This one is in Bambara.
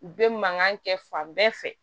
U bɛ mankan kɛ fan bɛɛ fɛ